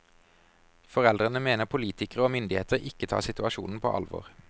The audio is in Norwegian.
Foreldrene mener politikere og myndigheter ikke tar situasjonen på alvor.